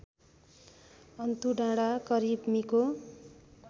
अन्तुडाँडा करिब मिको